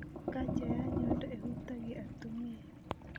Kaja ya nyondo ĩhutagia atumia